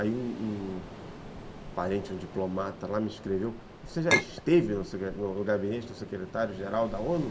Aí um um parente, um diplomata lá me escreveu, você já esteve no gabinete do secretário-geral da o nu ?